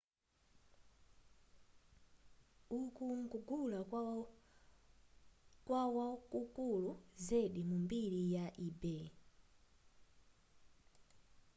uku nkugula kwa wakukulu zedi mu mbiri ya ebay